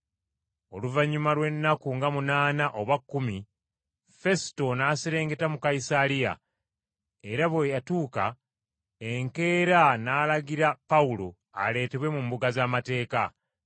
Oluvannyuma lw’ennaku nga munaana oba kkumi, Fesuto n’aserengeta mu Kayisaliya, era bwe yatuuka, enkeera n’alagira Pawulo aleetebwe mu mbuga z’amateeka.